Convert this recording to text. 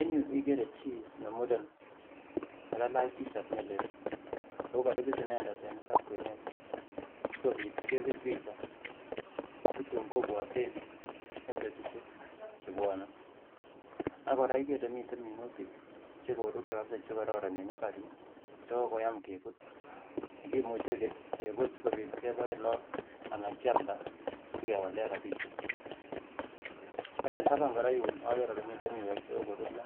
En yuu ikere chii nemuren nekalach t-shat nelel ako koribis inendet en mbar kwenet asikobit kebir picha asitun kobwaten eng betusiek chebwone ak kora ikere ile miten minutik chekoruryo chekororon en mbar yuu chekokoyam kebut nekimuche kebut akebaen lagook anan kyalda asikewaleen rapsiek. ak en taban kora yuun akere ole miten miweek chekokoruryo